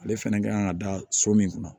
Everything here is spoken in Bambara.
Ale fɛnɛ ka kan ka da so min kun na